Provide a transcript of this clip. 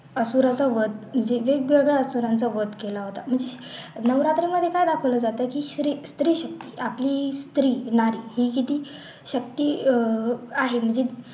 असुराचा वध युधिष्ठराने असुराचा वध केला होता नवरात्रेला जसं दाखवलं जातं स्त्री स्त्री आपली स्त्री नारी ही किती शक्ती अह आहे म्हणजे